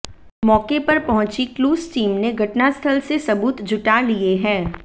मौके पर पहुंची क्लूज टीम ने घटनास्थल से सबूत जुटा लिए है